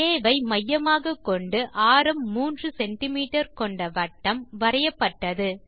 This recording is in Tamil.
ஆ ஐ மையமாக கொண்டு ஆரம் 3சிஎம் கொண்ட வட்டம் வரையப்பட்டது